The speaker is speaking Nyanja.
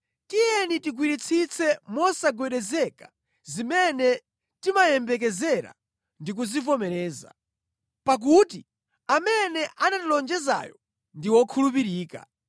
Tiyeni tigwiritsitse mosagwedezeka zimene timaziyembekezera ndi kuzivomereza, pakuti amene anatilonjezayo ndi wokhulupirika.